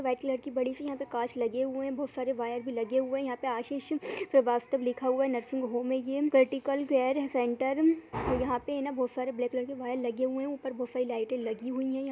White colour की बड़ी सी यहाँ पे कांच लगे हुए हैं । बोहत सारे वायर भी लगे हुए हैं ।यहाँ पे आशीष श्रीवास्तव लगा हुआ है नर्सिंग होम हैये क्रिटिकल केयर सेंटर |यहाँ पे है ना बहुत सारे ब्लैक कलर के वायर लगे हुए हैं ऊपर बोहोत सारी लाइटे लगी हुई हैं।